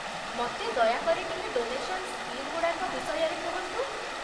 ମତେ ଦୟାକରି ଟିକେ ଡୋନେସନ୍ ସ୍କିମ୍ଗୁଡାକ ବିଷୟରେ କୁହନ୍ତୁ ।